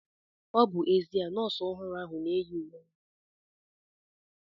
Ọ bụ ezia na nọọsụ ọhụrụ ahu na-eyi uwe nkịtị aga ụlọ ọgwụ